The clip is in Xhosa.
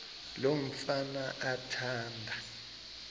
lo mfana athanda